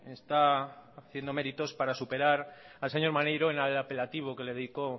está haciendo meritos para superar al señor maneiro en apelativo que le dedico